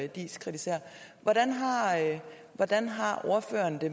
diis kritiserer hvordan har ordføreren det